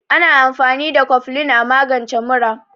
Ana amfani da koflin a magance mura.